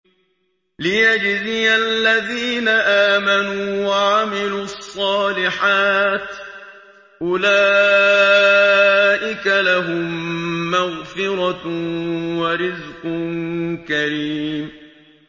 لِّيَجْزِيَ الَّذِينَ آمَنُوا وَعَمِلُوا الصَّالِحَاتِ ۚ أُولَٰئِكَ لَهُم مَّغْفِرَةٌ وَرِزْقٌ كَرِيمٌ